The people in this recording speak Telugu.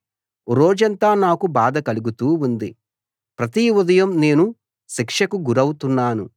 రోజంతా నాకు బాధ కలుగుతూ ఉంది ప్రతి ఉదయం నేను శిక్షకు గురవుతున్నాను